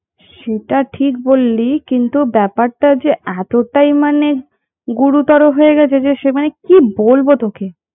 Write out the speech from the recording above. সেটা ঠিক বললি কিন্তু ব্যাপার টা যে এতটাই মানে গুরুতর হয়ে গেছে যে সেখানে কি বলবো তোকে